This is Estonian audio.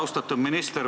Austatud minister!